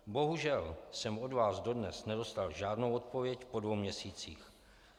Bohužel jsem od vás dodnes nedostal žádnou odpověď po dvou měsících.